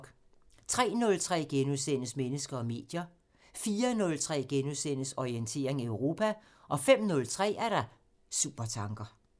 03:03: Mennesker og medier * 04:03: Orientering Europa * 05:03: Supertanker